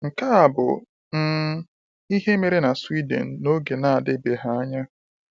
Nke a bụ um ihe mere na Sweden n’oge na-adịbeghị anya.